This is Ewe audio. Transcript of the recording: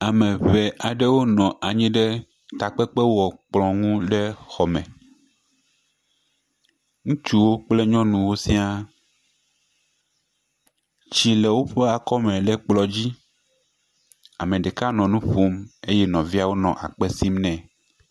Ame eve aɖewo nɔ anyi ɖe takpekpekplɔ̃ ŋu le xɔme. Ŋutsuwo kple nyɔnuwo sia. Tsi le woƒe akɔme le kplɔ̃ dzi. Ame ɖeka nɔ nu ƒom eye nɔviawo nɔ akpe sim nɛ.